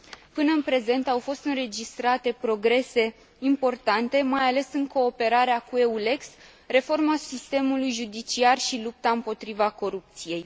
Până în prezent, au fost înregistrate progrese importante, mai ales în cooperarea cu EULEX, reforma sistemului judiciar și lupta împotriva corupției.